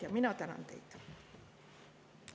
Mina tänan teid!